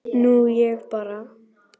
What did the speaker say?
Nú ég bara.